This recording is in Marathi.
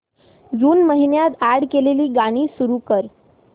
जून महिन्यात अॅड केलेली गाणी सुरू कर